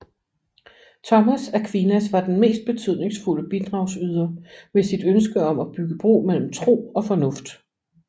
Thomas Aquinas var den mest betydningsfulde bidragsyder med sit ønske om at bygge bro mellem tro og fornuft